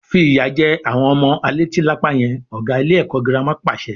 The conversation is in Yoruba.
Fi ìyà jẹ àwọn ọmọ a leti lápá yẹn! Ọ̀gá ilé ẹ̀kọ́ girama pàṣẹ.